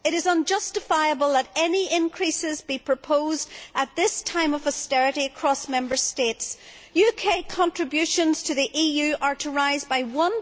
It is unjustifiable that any increases be proposed at this time of austerity across Member States. UK contributions to the EU are to rise by EUR